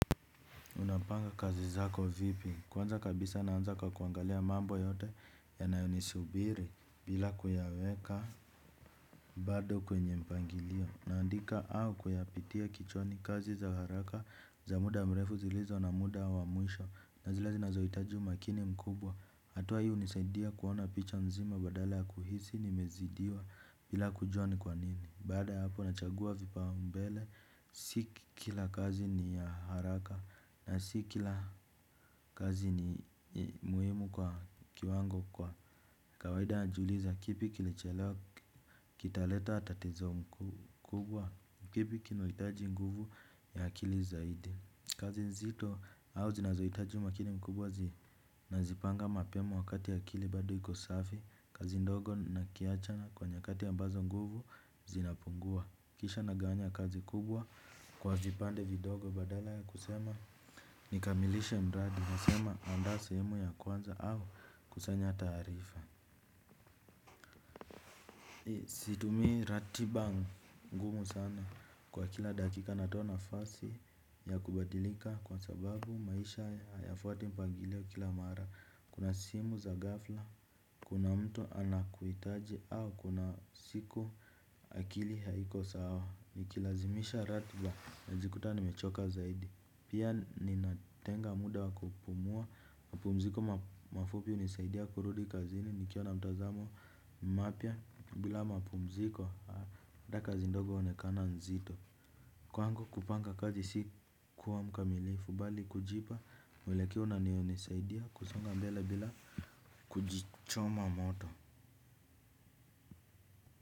Unapanga kazi zako vipi? Kwanza kabisa naanza kwa kuangalia mambo yote yanayonisubiri bila kuyaweka bado kwenye mpangilio. Naandika au kuyapitia kichwani kazi za haraka za muda mrefu zilizo na muda wa mwisho. Na zile zinazohitaji umakini mkubwa. Hatua hii hunisaidia kuona picha nzima badala ya kuhisi nimeezidiwa bila kujua ni kwanini. Baada ya hapo nachagua vipaumbele, si kila kazi ni ya haraka na si kila kazi ni muhimu kwa kiwango kwa kawaida najiuliza kipi kilichelewa kitaleta tatizo kubwa, kipi kinahitaji nguvu ya akili zaidi kazi nzito au zinazohitaji umakini mkubwa nazipanga mapema wakati akili bado iko safi, kazi ndogo nakiachana kwa nyakati ya mbazo nguvu zinapungua. Kisha nagawanya kazi kubwa kwa vipande vidogo badala ya kusema nikamilisha mradi nasema andaa sehemu ya kwanza au kusanya taarifa. Situmii ratiba ngumu sana kwa kila dakika natoa nafasi ya kubadilika kwa sababu maisha hayafuati mpangilio kila mara. Kuna simu za ghafla, kuna mtu anakuhitaji au kuna siku akili haiko sawa, nikilazimisha ratiba huwezi kuta nimechoka zaidi, pia ninatenga muda wakupumua, mapumziko mafupi hunisaidia kurudi kazini nikiwa na mtazamo mapya bila mapumziko raha ya kazi ndogo huonekana nzito, kwangu kupanga kazi si kuwa mkamilifu bali kujipa muelekeo na nihunisaidia kusonga mbele bila kujichoma moto.